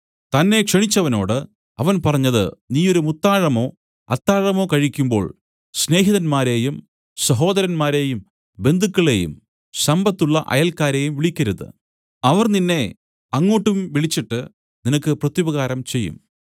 തന്നെ ക്ഷണിച്ചവനോട് അവൻ പറഞ്ഞത് നീ ഒരു മുത്താഴമോ അത്താഴമോ കഴിക്കുമ്പോൾ സ്നേഹിതന്മാരെയും സഹോദരന്മാരെയും ബന്ധുക്കളേയും സമ്പത്തുള്ള അയൽക്കാരെയും വിളിക്കരുത് അവർ നിന്നെ അങ്ങോട്ടും വിളിച്ചിട്ട് നിനക്ക് പ്രത്യുപകാരം ചെയ്യും